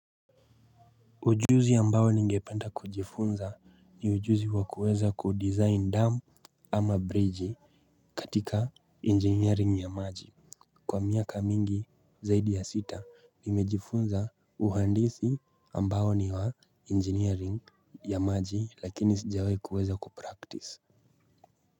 Ujuzi ambao ningependa kujifunza ni ujuzi wakuweza kudizain dam ama bridge katika engineering ya maji. Kwa miaka mingi zaidi ya sita nimejifunza uhandisi ambayo ni wa engineering ya maji lakini sijawai kuweza kupractice.